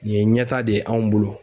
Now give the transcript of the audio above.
Nin ye ɲɛtaa de ye anw bolo.